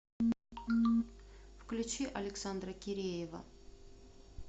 включи александра киреева